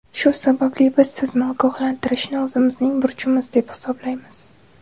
Shu sababli, biz sizni ogohlantirishni o‘zimizning burchimiz deb hisoblaymiz.